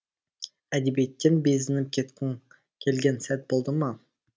әдебиеттен безініп кеткің келген сәт болды ма